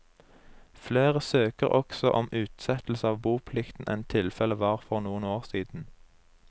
Flere søker også om utsettelse av boplikten enn tilfellet var for noen år siden.